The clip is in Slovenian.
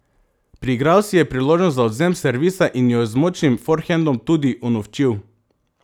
Priigral si je priložnost za odvzem servisa in jo z močnim forhendom tudi unovčil.